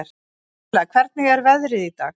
Stella, hvernig er veðrið í dag?